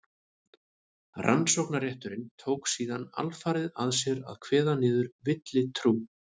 rannsóknarrétturinn tók síðan alfarið að sér að kveða niður villutrú